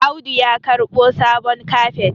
Audu ya karɓo sabon kafet